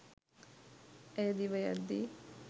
ඇය දිවයද්දී